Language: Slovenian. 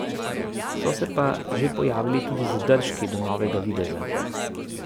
So se pa že pojavili tudi zadržki do novega videza.